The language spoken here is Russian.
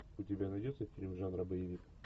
у тебя найдется фильм жанра боевик